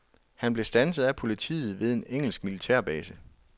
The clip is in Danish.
Han blev standset af politiet ved den engelske militærbase.